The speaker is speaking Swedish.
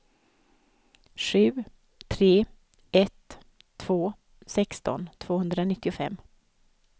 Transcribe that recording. sju tre ett två sexton tvåhundranittiofem